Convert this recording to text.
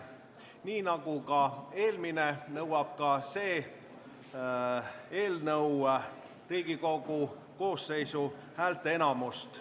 Nii nagu eelmine eelnõu, nõuab ka see eelnõu Riigikogu koosseisu häälteenamust.